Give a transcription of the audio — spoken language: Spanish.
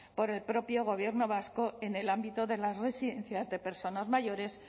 por el propio gobierno vasco en el ámbito de las residencias de personas mayores